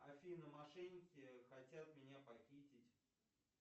афина мошенники хотят меня похитить